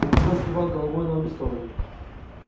пугачёв кивал головою на обе стороны